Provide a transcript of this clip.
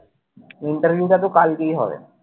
interview টাতো কালকেই হবে